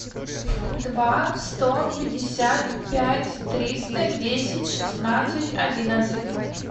два сто пятьдесят пять триста десять шестнадцать одиннадцать